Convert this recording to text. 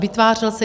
Vytvářel se...